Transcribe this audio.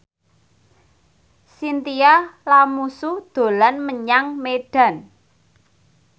Chintya Lamusu dolan menyang Medan